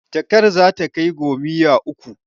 Jakar za ta kai gomiyya uku.